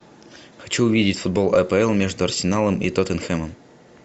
хочу увидеть футбол апл между арсеналом и тоттенхэмом